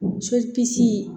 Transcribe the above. So